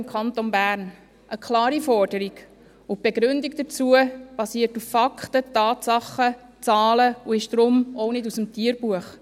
im Kanton Bern» – eine klare Forderung, und die Begründung dazu beruht auf Fakten, Tatsachen, Zahlen und ist deshalb auch nicht aus dem Tierbuch.